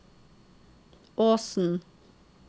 Åsen